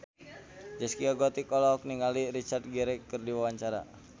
Zaskia Gotik olohok ningali Richard Gere keur diwawancara